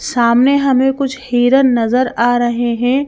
सामने हमें कुछ हेरन नजर आ रहे हैं।